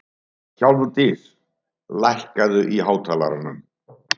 Hjálmdís, lækkaðu í hátalaranum.